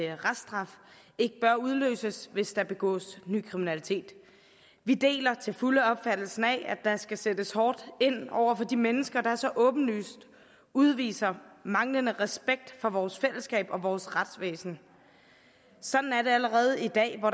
reststraf bør udløses hvis der begås ny kriminalitet vi deler til fulde opfattelsen af at der skal sættes hårdt ind over for de mennesker der så åbenlyst udviser manglende respekt for vores fællesskab og vores retsvæsen sådan er det allerede i dag hvor